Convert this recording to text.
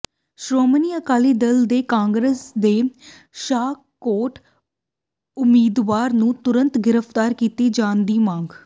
ਸ਼੍ਰੋਮਣੀ ਅਕਾਲੀ ਦਲ ਨੇ ਕਾਂਗਰਸ ਦੇ ਸ਼ਾਹਕੋਟ ਉਮੀਦਵਾਰ ਨੂੰ ਤੁਰੰਤ ਗ੍ਰਿਫ਼ਤਾਰ ਕੀਤੇ ਜਾਣ ਦੀ ਮੰਗ